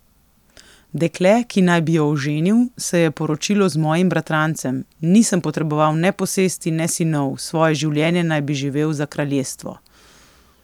Dekle, ki naj bi jo oženil, se je poročilo z mojim bratrancem, nisem potreboval ne posesti ne sinov, svoje življenje naj bi živel za kraljestvo.